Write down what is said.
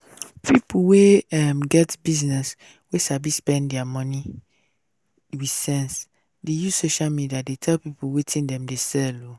pipu wey um get business wey sabi spend dia money wit sense sense dey use social media dey tell people wetin dem dey sell